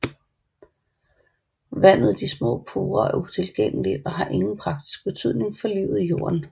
Vandet i de små porer er utilgængeligt og har ingen praktisk betydning for livet i jorden